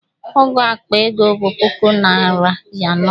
Ọ́gụ̀ akpa ego bụ puku naịra anọ.